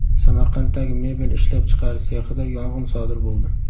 Samarqanddagi mebel ishlab chiqarish sexida yong‘in sodir bo‘ldi.